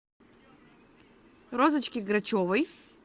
розочке грачевой